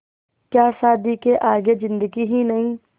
क्या शादी के आगे ज़िन्दगी ही नहीं